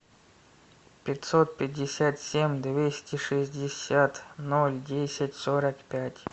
пятьсот пятьдесят семь двести шестьдесят ноль десять сорок пять